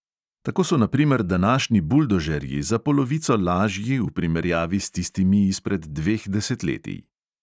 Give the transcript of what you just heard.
Tako so na primer današnji buldožerji za polovico lažji v primerjavi s tistimi izpred dveh desetletij.